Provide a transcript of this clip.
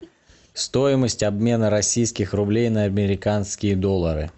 стоимость обмена российских рублей на американские доллары